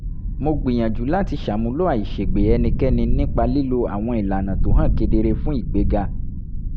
mo gbìyànjú láti ṣàmúlò àìṣègbè ẹnìkẹ́ni nípa lílo àwọn ìlànà tó hàn kedere fún ìgbéga